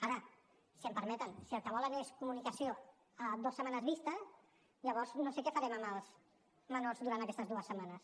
ara si m’ho permeten si el que volen és comunicació a dues setmanes vista llavors no sé què farem amb els menors durant aquestes dues setmanes